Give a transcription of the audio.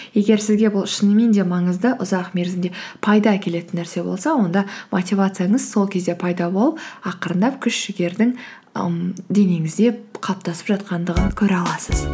егер сізге бұл шынымен де маңызды ұзақ мерзімде пайда әкелетін нәрсе болса онда мотивацияңыз сол кезде пайда болып ақырындап күш жігердің ііі денеңізде қалыптасып жатқандығын көре аласыз